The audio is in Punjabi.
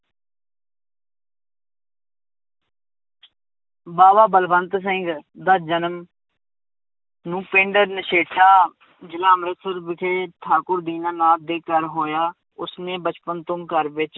ਬਾਵਾ ਬਲਵੰਤ ਸਿੰਘ ਦਾ ਜਨਮ ਨੂੰ ਪਿੰਡ ਨਸ਼ੇਠਾ ਜ਼ਿਲ੍ਹਾ ਅੰਮ੍ਰਿਤਸਰ ਵਿਖੇ ਠਾਕੁਰ ਦੀਨਾਨਾਥ ਦੇ ਘਰ ਹੋਇਆ, ਉਸਨੇੇ ਬਚਪਨ ਤੋਂ ਘਰ ਵਿੱਚ,